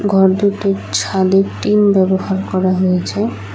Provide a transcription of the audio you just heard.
ঘর দুটির ছাদে টিন ব্যবহার করা হয়েছে।